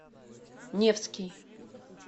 невский